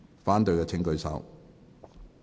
反對的請舉手。